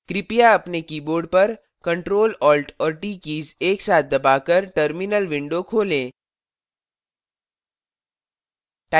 कृपया अपने keyboard पर ctrl alt और t कीज एक साथ दबाकर terminal window खोलें